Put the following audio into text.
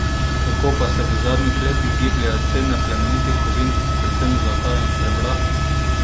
Kako pa se v zadnjih letih gibljejo cene plemenitih kovin, predvsem zlata in srebra?